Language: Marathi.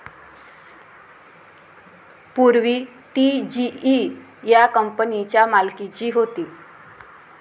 पूर्वी ती जीई या कंपनीच्या मालकीची होती.